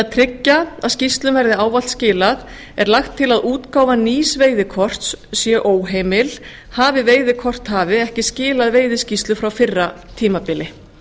tryggja að skýrslum verði ávallt skilað er lagt til að útgáfa nýs veiðikorts sé óheimil ef hafi veiðikorthafi ekki skilað veiðiskýrslu frá fyrra tímabili